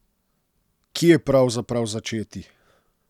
Kje pravzaprav začeti?